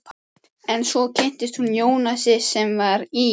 En svo kynntist hún Jónasi sem var í